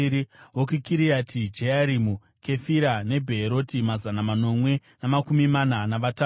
vokuKiriati Jearimi, Kefira neBheeroti, mazana manomwe namakumi mana navatatu;